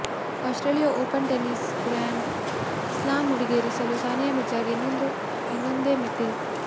Australia open tennis grand slam ಮುಡಿಗೇರಿಸಲು ಸಾನಿಯಾ ಮಿರ್ಜಾಗೆ ಇನ್ನೊಂದೇ ಮೆಟ್ಟಿಲು